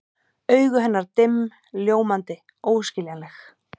Augu hennar dimm, ljómandi, óskiljanleg.